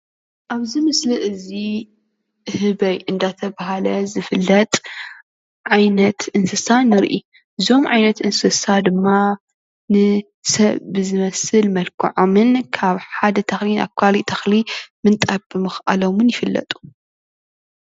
ኣብዚ ምስሊ እዚ ህበይ እዳተብሃለ ዝፍለጥ ዓይነት እንስሳ ንርኢ እዞም ዓይነት እንስሳ ድማ ንሰብ ብዝመስል መልክዖምን ካብ ሓደ ተኽሊ ናብ ካልእ ተኽሊ ምንጣር ብምካሎም ድማ ይፍለጡ።